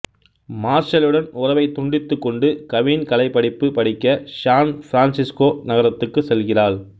மார்ஷல்லுடன் உறவை துண்டித்துக்கொண்டு கவின் கலை படிப்பு படிக்க ஸான் ஃ பிரான்ஸேஸ்கோ நகரத்துக்கு செல்கிறாள்